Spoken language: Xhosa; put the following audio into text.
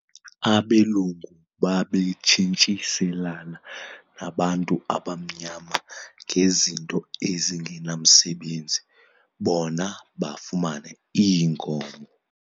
Abelungu babetshintshiselana nabantu abamnyama ngezinto ezingenamsebenzi bona bafumane iinkomo.